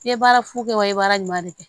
I ye baara fu kɛ wa i ye baara ɲuman de kɛ